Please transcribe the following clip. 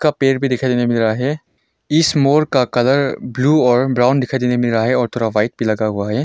का पेड़ भी दिखाई देने मिल रहा है इस मोर का कलर ब्लू और ब्राउन दिखाई देने को मिल रहा है और थोड़ा व्हाइट भी लगा हुआ है।